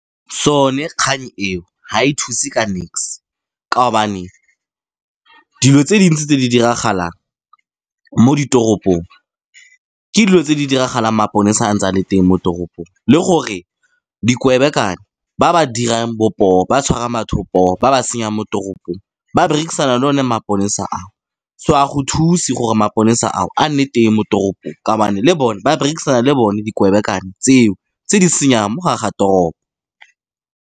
Sone kgang eo, ga e thuse ka nix ka gobane dilo tse dintsi tse di diragalang mo ditoropong, ke dilo tse di diragalang maponesa a ntse a le teng mo toropong. Le gore ba ba dirang bo poo ba tshwara batho poo ba ba senyang mo toropong, ba berekisana le one maponesa ao. So, ga go thuse gore maponesa ao a nne teng mo toropong ka gobane ba berekisana le bone tseo tse di senyang mo gareng ga toropo.